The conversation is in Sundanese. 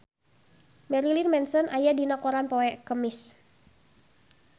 Marilyn Manson aya dina koran poe Kemis